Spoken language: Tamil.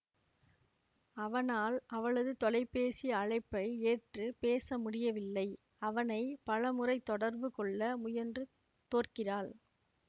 அவனால் அவளது தொலைபேசி அழைப்பை ஏற்று பேச முடியவில்லை அவனை பல முறை தொடர்பு கொள்ள முயன்று தோற்கிறாள்